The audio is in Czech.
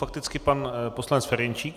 Fakticky pan poslanec Ferjenčík.